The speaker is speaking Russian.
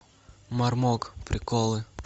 мармок приколы